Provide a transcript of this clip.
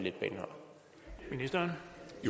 at høre ministeren